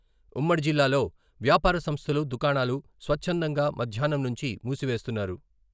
ఉమ్మడి జిల్లాలొ వ్యాపార సంస్థలు, దుకాణాలు స్వచ్చందంగా మద్యాహ్నం నుంచి మూసివేస్తున్నారు.